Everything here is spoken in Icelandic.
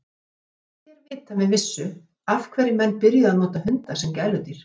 Ekki er vitað með vissu af hverju menn byrjuðu að nota hunda sem gæludýr.